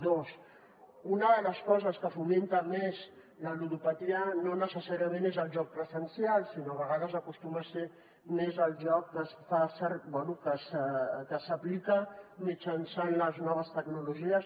dos una de les coses que fomenta més la ludopatia no necessàriament és el joc presencial sinó a vegades acostuma a ser més el joc que s’aplica mitjançant les noves tecnologies